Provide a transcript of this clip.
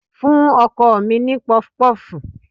Fún ọkọ mi ní pọfupọ́fù.